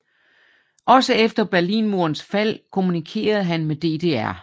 Også efter Berlinmurens fald kommunikerede han med DDR